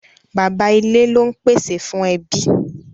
Bàbá ilé lón pèsè fún ẹbí.